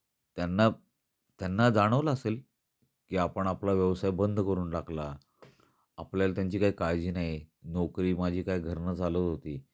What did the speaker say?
त्यांना, त्यांना जाणवल असेल की आपण आपला व्यवसाय बंद करून टाकला. आपल्याला त्यांची काही काळजी नाही, नोकरी माझी काय घरन चालत होती